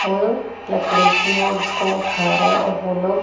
वो लोग लकड़ी के बोर्ड्स को उठा रहे है और वो लोग--